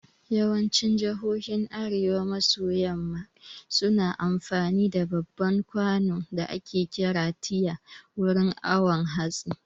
Yawancin jihohin arewa maso yamma suna amfani da babban kwano da ake kira tiya wurin awon hatsi